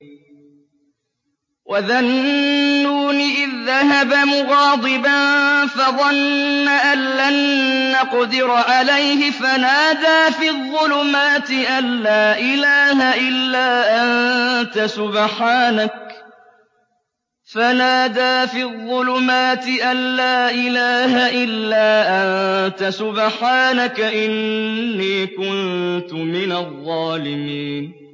وَذَا النُّونِ إِذ ذَّهَبَ مُغَاضِبًا فَظَنَّ أَن لَّن نَّقْدِرَ عَلَيْهِ فَنَادَىٰ فِي الظُّلُمَاتِ أَن لَّا إِلَٰهَ إِلَّا أَنتَ سُبْحَانَكَ إِنِّي كُنتُ مِنَ الظَّالِمِينَ